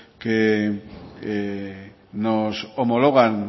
que nos homologan